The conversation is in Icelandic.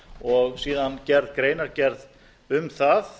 og síðan unnin greinargerð um það